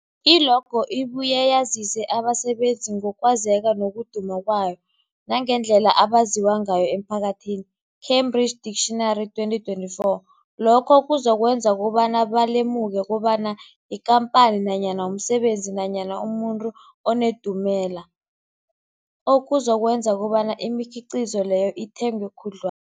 I-logo ibuye yazise abasebenzisi ngokwazeka nokuduma kwabo nangendlela abaziwa ngayo emphakathini, Cambridge Dictionary 2024. Lokho kuzokwenza kobana balemuke kobana yikhamphani nanyana umsebenzi nanyana umuntu onendumela, okuzokwenza kobana imikhiqhizo leyo ithengwe khudlwa